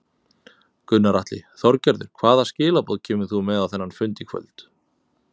Gunnar Atli: Þorgerður hvaða skilaboð kemur þú með á þennan fund í kvöld?